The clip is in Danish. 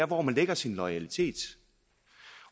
hvor man lægger sin loyalitet